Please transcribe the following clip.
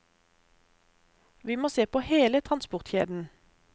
Vi må se på hele transportkjeden.